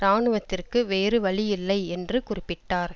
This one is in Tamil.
இராணுவத்திற்கு வேறு வழியில்லை என்று குறிப்பிட்டார்